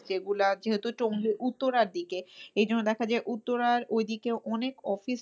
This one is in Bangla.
যেগুলা যেহেতু উত্তরার দিকে এইজন্য দেখা যায়, উত্তরার ঐদিকে অনেক অফিস